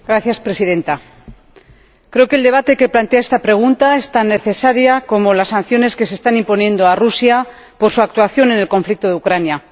Señora Presidenta, creo que el debate que plantea esta pregunta es tan necesario como las sanciones que se están imponiendo a Rusia por su actuación en el conflicto de Ucrania.